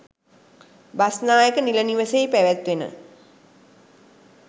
බස්නායක නිල නිවසෙහි පැවැත්වෙන